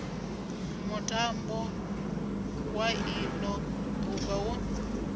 mutambo wa ilo duvha wo